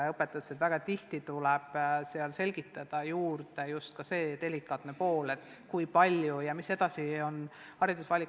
Õpetajal tuleb juurde selgitada ka seda delikaatset poolt, kui palju annab eesti keel juurde ja millised on lapse edasised haridusvalikud.